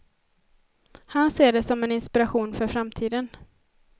Han ser det som en inspiration för framtiden.